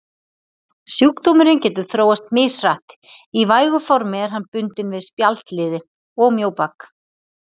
Sjúkdómurinn getur þróast mishratt, í vægu formi er hann bundinn við spjaldliði og mjóbak.